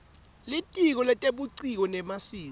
litiko letebuciko nemasiko